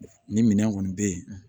Ni minɛn kɔni bɛ yen